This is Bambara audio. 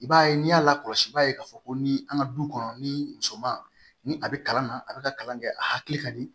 I b'a ye n'i y'a lakɔlɔsi i b'a ye k'a fɔ ko ni an ka du kɔnɔ ni muso man ni a bɛ kalan na a bɛ ka kalan kɛ a hakili ka di